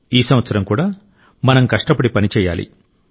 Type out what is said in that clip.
ఈ సంవత్సరం కూడా మనం కష్టపడి పనిచేయాలి